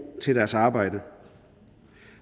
til deres arbejde